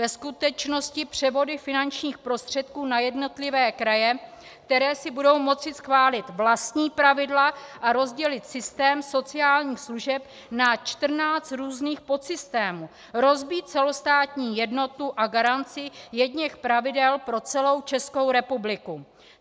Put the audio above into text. Ve skutečnosti převody finančních prostředků na jednotlivé kraje, které si budou moci schválit vlastní pravidla a rozdělit systém sociálních služeb na 14 různých podsystémů, rozbít celostátní jednotu a garanci jedněch pravidel pro celou Českou republiku.